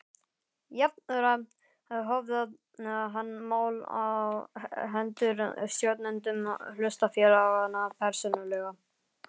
Jafnframt höfðað hann mál á hendur stjórnendum hlutafélaganna persónulega.